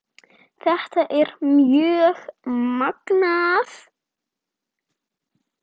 Þetta er mjög magnað.